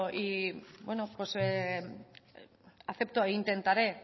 y bueno acepto e intentaré